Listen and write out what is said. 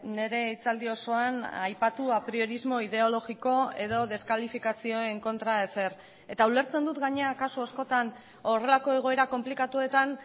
nire hitzaldi osoan aipatu apriorismo ideologiko edo deskalifikazioen kontra ezer eta ulertzen dut gainera kasu askotan horrelako egoera konplikatuetan